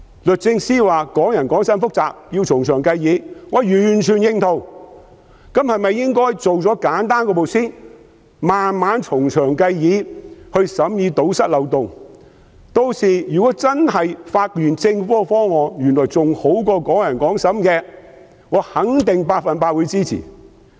律政司司長說"港人港審"很複雜，要從長計議，我完全認同，那麼是否應該先處理簡單的一步，然後再從長計議，堵塞漏洞，屆時如果真的發現政府的方案原來較"港人港審"更好，我肯定百分之一百支持。